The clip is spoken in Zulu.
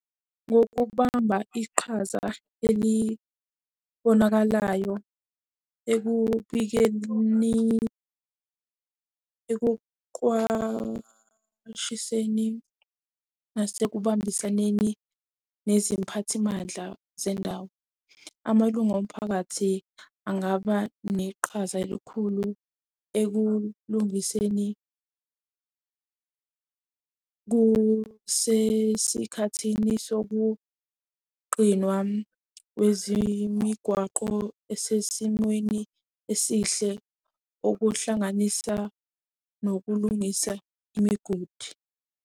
Ngokubamba iqhaza elibonakalayo ekubikeni, ekuqwashiseni nase kubambisaneni neziphathimandla zendawo, amalunga omphakathi angaba neqhaza elikhulu ekulungiseni kusesikhathini sokugqinwa kwezemigwaqo esesimeni esihle okuhlanganisa nokulungisa imigodi.